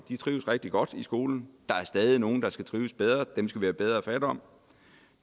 trives rigtig godt i skolen der er stadig nogle der skal trives bedre dem skal vi have bedre fat om